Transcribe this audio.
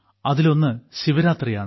അതിലൊന്ന് ശിവരാത്രിയാണ്